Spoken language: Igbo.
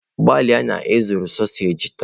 Gbalịa na ị zụrụ sausaji taa!